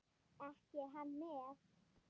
Ekki er hann með?